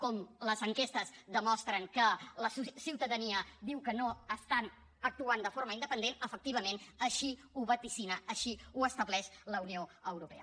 com les enquestes demostren que la ciutadania diu que no estan actuant de forma independent efectivament així ho vaticina així ho estableix la unió europea